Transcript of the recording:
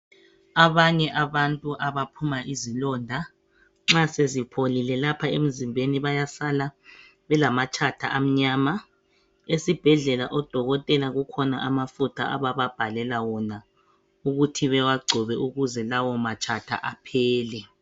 Abanye abantu abaphuma izilonda nxa sezipholile lapha emzimbeni bayasala belamatshatha amnyama. Esibhedlela odokotela kukhona amafutha abababhalela wona ukuthi bewagcobe ukuze lawo matshatha aphele.